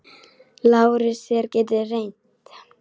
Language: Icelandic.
LÁRUS: Þér getið reynt.